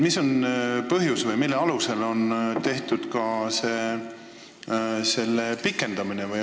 Mis on põhjus, et ka pikem aeg on ette nähtud?